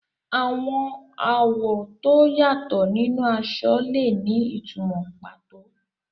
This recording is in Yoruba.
Àwọn àwọ̀ tó yàtọ̀ nínú aṣọ lè ní ìtumọ̀ pàtó.